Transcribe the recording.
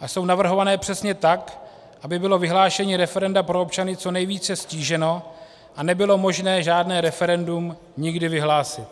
a jsou navrhované přesně tak, aby bylo vyhlášení referenda pro občany co nejvíce ztíženo a nebylo možné žádné referendum nikdy vyhlásit.